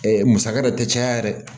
musaka yɛrɛ tɛ caya yɛrɛ